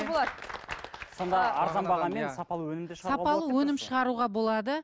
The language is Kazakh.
сонда арзан бағамен сапалы өнім де шығаруға сапалы өнім шығаруға болады